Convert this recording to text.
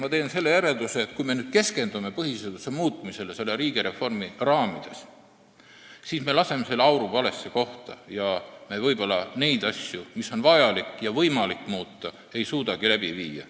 Ma teen selle järelduse, et kui me nüüd selle riigireformi raames keskendume põhiseaduse muutmisele, siis läheb aur valesse kohta ja neid asju, mida on vaja ja võimalik muuta, me võib-olla ei suudagi muuta.